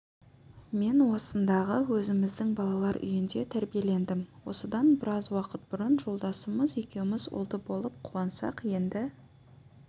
мен осындағы өзіміздің балалар үйінде тәрбиелендім осыдан біраз уақыт бұрын жолдасымыз екеуміз ұлды болып қуансақ енді